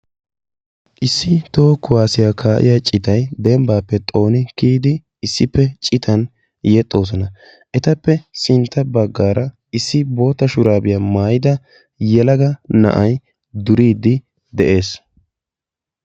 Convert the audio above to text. Issi toho kuwasiya kaa'iya citay xooniddi kiyiddi yexxosonna. Etta matan issi na'ay duriddi de'ees.